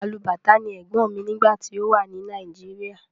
Alubàtá ni ẹ̀gbọ́n mi nígbà tí ó wà ní Nàìjíríà.